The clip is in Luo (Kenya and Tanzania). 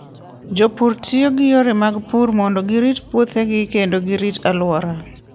Jopur tiyo gi yore mag pur mondo girit puothegi kendo girit alwora.